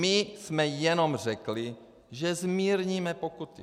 My jsme jenom řekli, že zmírníme pokuty.